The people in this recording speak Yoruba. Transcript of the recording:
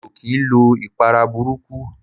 Mi ò kii lo ìpara burúkú.